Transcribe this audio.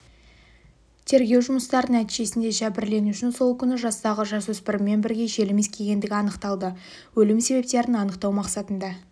тергеу жұмыстары нәтижесінде жәбірленушінің сол күні жастағы жасөспіріммен бірге желім иіскегендігі анықталды өлім себептерін анықтау мақсатында